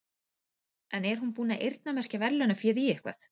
En er hún búin að eyrnamerkja verðlaunaféð í eitthvað?